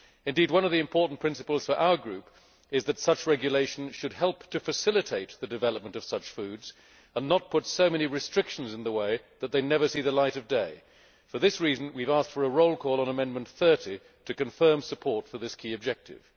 Indeed, one of the important principles for our group is that such regulation should help to facilitate the development of such foods and not put so many restrictions in the way that they never see the light of day. For this reason we have asked for a roll call vote on Amendment 30 to confirm support for this key objective.